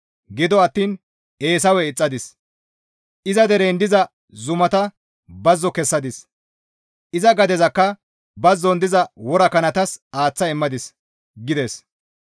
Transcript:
Gido attiin Eesawe ixxadis; iza deren diza zumata bazzo kessadis; iza gadezakka bazzon diza worakanatas aaththa immadis» gides.